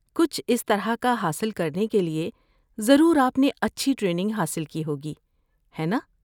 کچھ اس طرح کا حاصل کرنے کے لیے ضرور آپ نے اچھی ٹریننگ حاصل کی ہوگی، ہے ناں؟